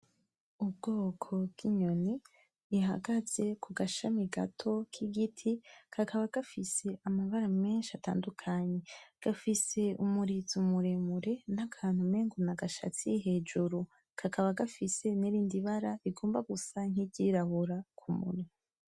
Ubwoko bw'inyoni ihagaze ku gashami gato k'igiti kakaba gafise amabara menshi atandukanye, gafise umurizo muremure n'akantu umengo nagashatsi hejuru, kakaba gafise n'irindi bara rigomba gusa niryirabura kumunwa.